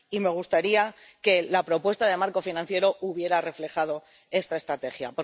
Y me gustaría que la propuesta de marco financiero hubiera reflejado esta estrategia.